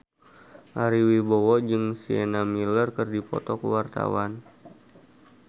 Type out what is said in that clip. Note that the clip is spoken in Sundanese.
Ari Wibowo jeung Sienna Miller keur dipoto ku wartawan